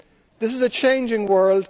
This is a changing